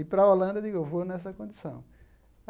E para a Holanda, eu digo, eu vou nessa condição.